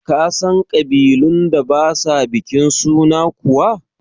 Ka san ƙabilun da ba sa bikin suna kuwa?